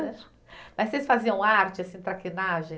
Mas vocês faziam arte, assim, traquinagem?